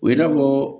O ye n'a fɔ